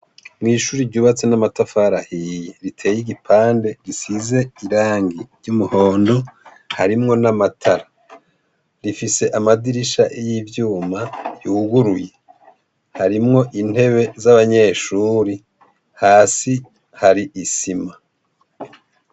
Mw'ishuri ryubatse n'amatafari ahiye riteye igipande gisize irangi ry'umuhono harimwo n'amatara rifise amadirisha y'ivyuma yuguruye harimwo intebe z'abanyeshuri hasi hari isima.